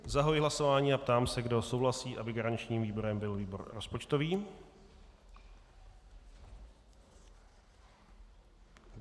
Zahajuji hlasování a ptám se, kdo souhlasí, aby garančním výborem byl výbor rozpočtový.